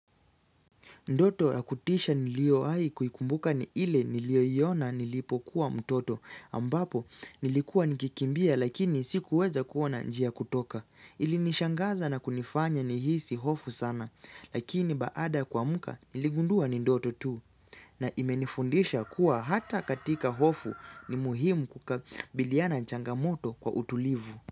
Ndoto ya kutisha niliyoahi kuikumbuka ni ile niliyoiona nilipokuwa mtoto ambapo nilikuwa nikikimbia lakini sikuweza kuona njia ya kutoka. Ilinishangaza na kunifanya nihisi hofu sana lakini baada kwamka niligundua ni ndoto tu na imenifundisha kuwa hata katika hofu ni muhimu kukabiliana changamoto kwa utulivu.